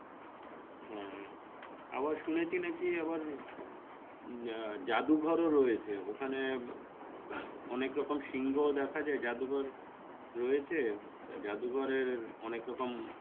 হ্যাঁ আবার শুনেছি নাকী আবার উম আহ জাদুঘর ও রয়েছে ওখানে অনেকরকম সিংহ ও দেখা যাই জাদুঘর রয়েছে তা জাদু ঘরের অনেক রকম,